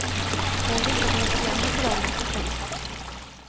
Hon visste att hon var för gammal för rollen. punkt